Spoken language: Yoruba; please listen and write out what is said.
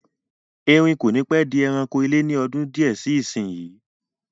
Erin kò ní pẹ́ di ẹranko ilé ni ọdún di ẹ síí isinyi